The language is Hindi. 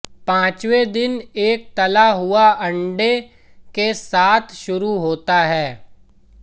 पांचवें दिन एक तला हुआ अंडा के साथ शुरू होता है